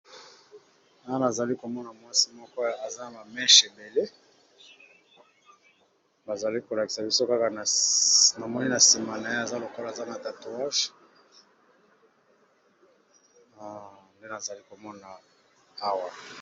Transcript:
Awa nazali komona mwasi moko eza na ba meshe ebele, bazali kolakisa biso kaka namoni na sima na ye aza lokola aza na tatouage nde nazali komona owa.